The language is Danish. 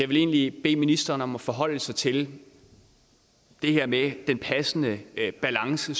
vil egentlig bede ministeren om at forholde sig til det her med at en passende balance